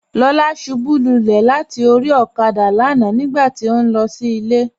Lọla ṣúbú lúlẹ̀ látì orí òkádà lánà nígbàtí ó nlọ sí ilẹ̀.